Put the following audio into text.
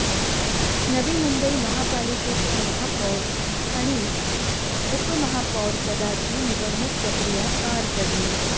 नवी मुंबई महापालिकेच्या महापौर आणि उपमहापौर पदाची निवडणुक प्रक्रीया पार पडली